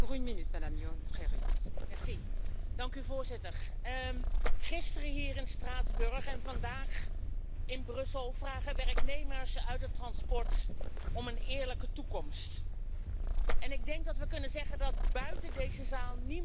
Voorzitter, gisteren hier in Straatsburg en vandaag in Brussel vragen werknemers uit de transportsector om een eerlijke toekomst. Ik denk dat we kunnen zeggen dat buiten deze zaal niemand snapt wat we hier nou aan het doen zijn.